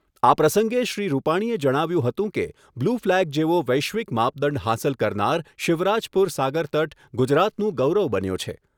આ પ્રસંગે શ્રી રૂપાણીએ જણાવ્યુંં હતું કે બ્લૂ ફ્લેગ જેવો વૈશ્વિક માપદંડ હાંસલ કરનાર શિવરાજપૂર સાગરતટ ગુજરાતનું ગૌરવ બન્યો છે.